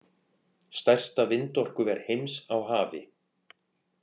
Stærsta vindorkuver heims á hafi